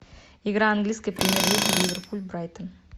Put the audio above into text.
игра английской премьер лиги ливерпуль брайтон